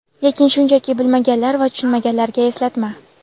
Lekin shunchaki bilmaganlar va tushunmaganlarga eslatma:.